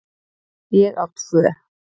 Ég á tvo.